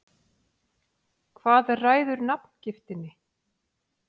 Hvað ræður nafngiftinni?